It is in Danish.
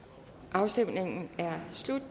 afstemningen er slut